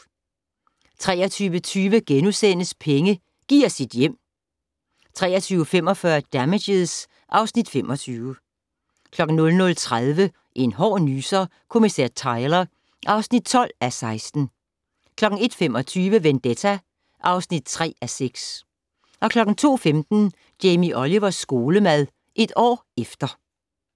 23:20: Penge: Giv os dit hjem! * 23:45: Damages (Afs. 25) 00:30: En hård nyser: Kommissær Tyler (12:16) 01:25: Vendetta (3:6) 02:15: Jamie Olivers skolemad - et år efter